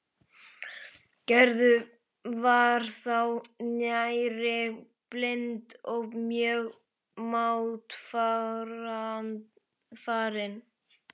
Gerður var þá nærri blind og mjög máttfarin.